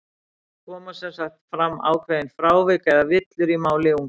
Það koma sem sagt fram ákveðin frávik, eða villur, í máli ungra barna.